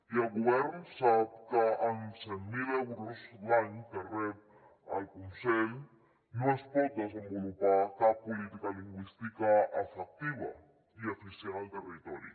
i el govern sap que amb cent mil euros l’any que rep el conselh no es pot desenvolupar cap política lingüística efectiva i eficient al territori